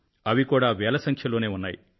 అవి కూడా వేల సంఖ్యలోనే ఉన్నాయి